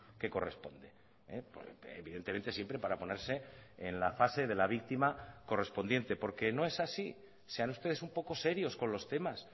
que corresponde evidentemente siempre para ponerse en la fase de la víctima correspondiente porque no es así sean ustedes un poco serios con los temas